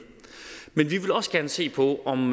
også gerne se på om